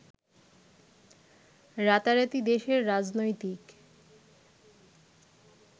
রাতারাতি দেশের রাজনৈতিক